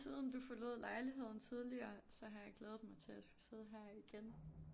Siden du forlod lejligheden tidligere så har jeg glædet mig til at skulle sidde her igen